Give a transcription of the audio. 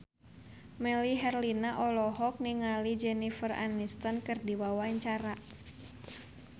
Melly Herlina olohok ningali Jennifer Aniston keur diwawancara